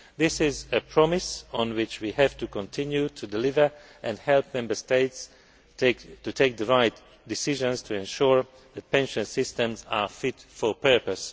This is a promise on which we have to continue to deliver and help Member States to take the right decisions to ensure that pension systems are fit for purpose.